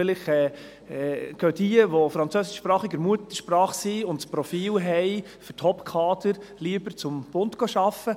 Vielleicht gehen, diejenigen, welche französischsprachiger Muttersprache sind und das Profil für Top-Kader haben, lieber zum Bund arbeiten.